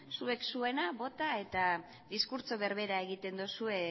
zuek zuena bota eta diskurtso berbera egiten duzue